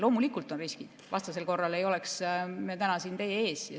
Loomulikult on riskid, vastasel korral ei oleks me täna siin teie ees.